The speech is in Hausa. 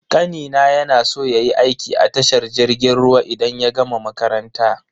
Kanina ya na so yayi aiki a tashar jirgin ruwa idan ya gama makaranta.